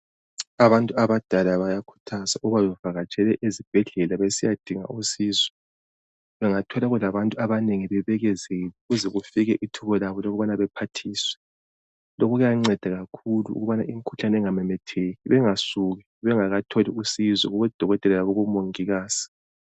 Abantu abadala bayakhuthazwa ukuba bevakatshele ezibhedlela besiyadinga usizo bengathola kulabantu abanengi bebekezele kuze kufike ithuba labo lokubana bephathiswe. Lokhu kuyanceda kakhulu ukubana imkhuhlane ingamemetheki. Bengasuki bengakatholi usizo kubodokotela labomongikazi.